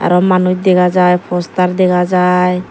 arow manus dega jai postar dega jai.